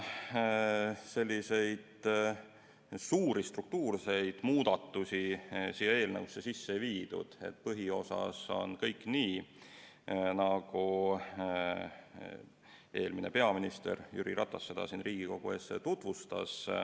Suuri struktuurseid muudatusi siia eelnõusse sisse ei viidud, põhiosas on kõik nii, nagu eelmine peaminister Jüri Ratas siin Riigikogu ees tutvustas.